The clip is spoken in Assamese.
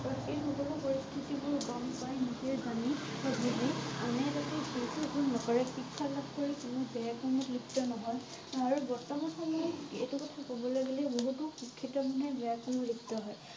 আৰু সেই সকলো পৰিস্থিতি বোৰ গম পাই নিজেই জনি বা বুজি আনে যাতে সেইটো ভুল নকৰে শিক্ষা লাভ কৰি কোনো বেয়া কামত লিপ্ত নহয় আৰু বৰ্তমান সময়ত এইটো কথা কবলৈ গলে বহুতো শিক্ষিত মানুহে বেয়া কামত লিপ্ত হয়।